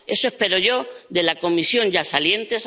Eso espero yo de la Comisión ya saliente.